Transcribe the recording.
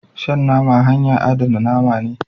Shan nama hanya adana name ne.